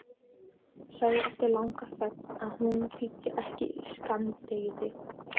Sagði eftir langa þögn að hún þyldi ekki skammdegið.